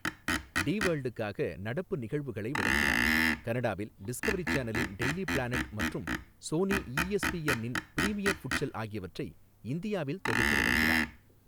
D வேர்ல்டுக்காக நடப்பு நிகழ்வுகளை வழங்கினார், கனடாவில் டிஸ்கவரி சேனலின் டெய்லி பிளானட் மற்றும் சோனி ஈஎஸ்பிஎன் இன் பிரீமியர் ஃபுட்சல் ஆகியவற்றை இந்தியாவில் தொகுத்து வழங்கினார்.